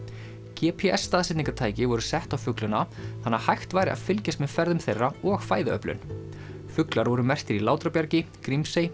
g p s staðsetningartæki voru sett á fuglana þannig að hægt væri að fylgjast með ferðum þeirra og fæðuöflun fuglar voru merktir í Látrabjargi Grímsey